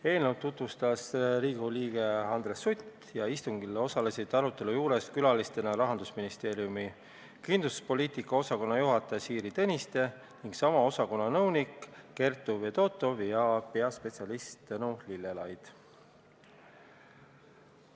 Eelnõu tutvustas Riigikogu liige Andres Sutt ning istungil osalesid külalistena Rahandusministeeriumi kindlustuspoliitika osakonna juhataja Siiri Tõniste ja sama osakonna nõunik Kertu Fedotov ja peaspetsialist Tõnu Lillelaid.